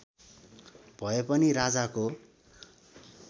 भए पनि राजाको